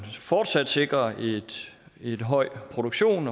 fortsat sikrer en høj produktion